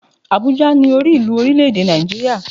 Àbújá ni orí ìlú orílè èdè Nàìjíríà